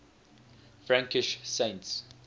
frankish saints